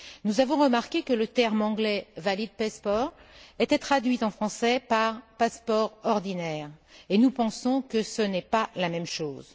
Nous avons remarqué que le terme anglais valid passport était traduit en français par passeport ordinaire, et nous pensons que ce n'est pas la même chose.